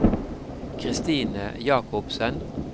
Christine Jakobsen